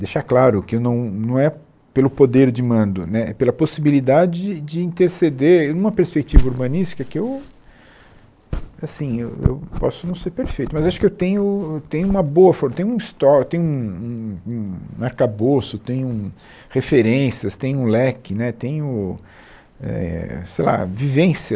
Deixar claro que não não é pelo poder de mando né, é pela possibilidade de interceder numa perspectiva urbanística que eu assim eu eu posso não ser perfeito, mas acho que eu tenho tenho uma boa forma, eu tenho um histó, tenho um um um arcabouço, tenho referências, tenho um leque né, tenho eh sei lá vivência.